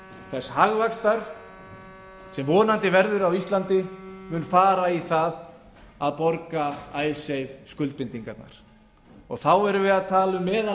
þess hagvaxtar sem vonandi verður á íslandi mun fara í það að borga icesave skuldbindingarnar þá erum við að tala um meðal